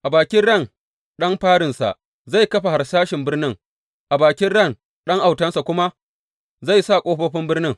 A bakin ran ɗan farinsa zai kafa harsashin birnin; a bakin ran ɗan autansa kuma zai sa ƙofofin birnin.